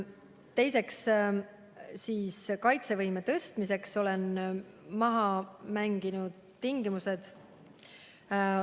Teiseks olen kaitsevõime tõstmiseks maha mänginud tingimused.